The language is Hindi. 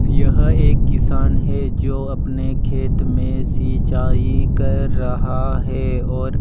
यह एक किसान है जो अपने खेत में सिंचाई कर रहा है और--